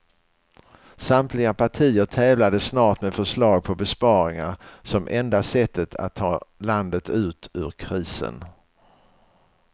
Samtliga partier tävlade snart med förslag på besparingar som enda sättet att ta landet ut ur krisen.